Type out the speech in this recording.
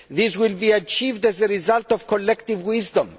This will be achieved as a result of collective wisdom.